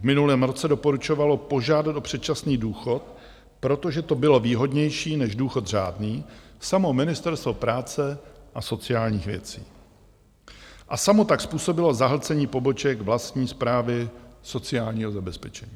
V minulém roce doporučovalo požádat o předčasný důchod, protože to bylo výhodnější než důchod řádný, samo Ministerstvo práce a sociálních věcí a samo tak způsobilo zahlcení poboček vlastní Správy sociálního zabezpečení.